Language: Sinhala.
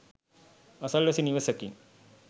අසල්වැසි නිවෙසකින්